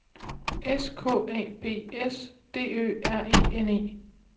S K A B S D Ø R E N E